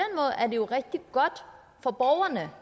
jo rigtig godt for borgerne